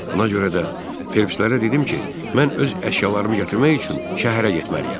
Buna görə də Felpslərə dedim ki, mən öz əşyalarımı gətirmək üçün şəhərə getməliyəm.